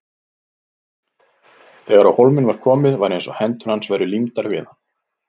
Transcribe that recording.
Þegar á hólminn var komið var eins og hendur hans væru límdar við hann.